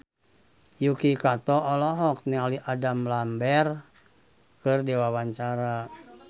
Yuki Kato olohok ningali Adam Lambert keur diwawancara